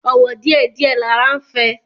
Ọ̀wọ̀ díẹ̀ díẹ̀ lara ń fẹ́